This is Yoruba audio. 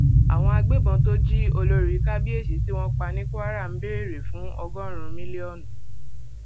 àwọn agbébọn tó jí olórí kábíyèsí tí wọn pa ní kwara ń béèrè fún ọgọrùnún mílíọnù